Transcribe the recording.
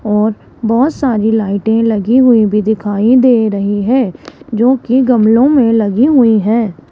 और बहोत सारी लाइटें लगी हुई भी दिखाई दे रही हैं जोकी गामलो में लगी हुई हैं।